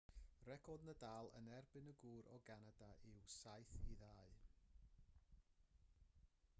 record nadal yn erbyn y gŵr o ganada yw 7-2